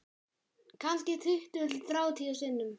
Kannski tuttugu til þrjátíu sinnum